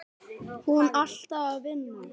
Hún alltaf að vinna.